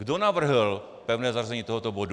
Kdo navrhl pevné zařazení tohoto bodu?